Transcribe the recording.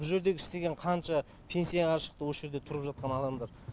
бұ жердегі істеген қанша пенсияға шықты осы жерде тұрып жатқан адамдар